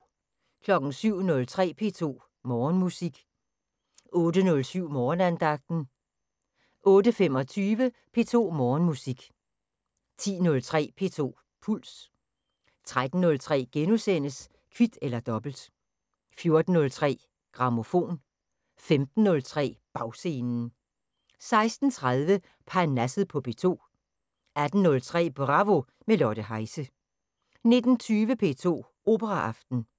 07:03: P2 Morgenmusik 08:07: Morgenandagten 08:25: P2 Morgenmusik 10:03: P2 Puls 13:03: Kvit eller dobbelt * 14:03: Grammofon 15:03: Bagscenen 16:30: Parnasset på P2 18:03: Bravo – med Lotte Heise 19:20: P2 Operaaften